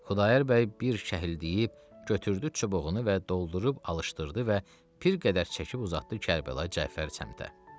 Xudayar bəy bir şəhil deyib, götürdü çubuğunu və doldurub alışdırdı və bir qədər çəkib uzatdı Kərbəlayı Cəfər səmtə.